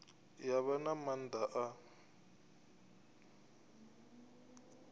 ya vha na maanḓa a